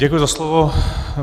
Děkuji za slovo.